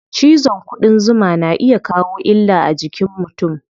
Cizon ƙudan zuma na iya kawo illa a jikin mutum.